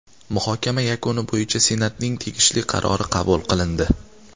Muhokama yakuni bo‘yicha Senatning tegishli qarori qabul qilindi.